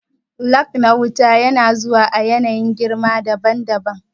Lag na wayar wuta na zuwa a yanayin girma daban daban